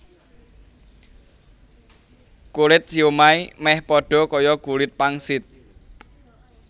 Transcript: Kulit siomai méh padha kaya kulit pangsit